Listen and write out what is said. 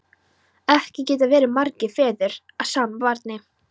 Ekki geta verið margir feður að sama barni!